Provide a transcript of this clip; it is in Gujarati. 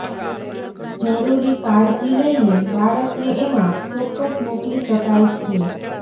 જરૂરી કાળજી લઈને બાળકને એમાં ચોક્કસ મોકલી શકાય છે